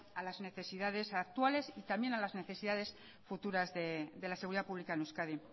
a las necesidades actuales y también a las necesidades futuras de la seguridad pública en euskadi